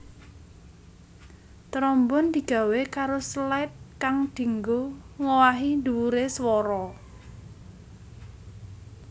Trombon digawé karo slide kang dianggo ngowahi dhuwure swara